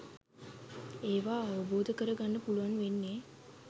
ඒවා අවබෝධ කර ගන්න පුළුවන් වෙන්නෙ